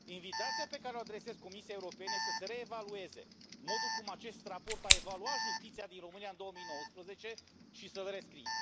Invitația pe care o adresez Comisiei Europene este să se reevalueze modul cum acest raport a evaluat justiția din România în 2019 și să îl rescrie.